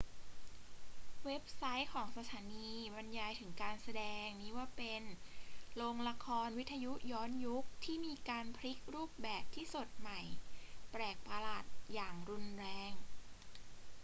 เว็บไซต์ของสถานีบรรยายถึงการแสดงนี้ว่าเป็น โรงละครวิทยุย้อนยุคที่มีการพลิกรูปแบบที่สดใหม่แปลกประหลาดอย่างรุนแรง